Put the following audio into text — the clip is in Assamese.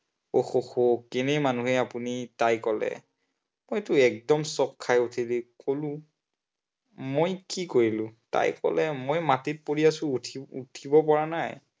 আহ আহ আহ কেনে মানুহ হে আপুনি? তাই কলে। মইতো একদম চক খাই উঠি কলো, মই কি কৰিলো, তাই কলে মই মাটিত পৰি আছো, উঠি, উঠিব পৰা নাই।